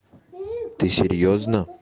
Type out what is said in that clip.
ты серьёзно